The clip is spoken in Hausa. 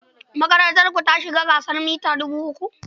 Makarantarku ta shiga gasar tseren mita dubu uku?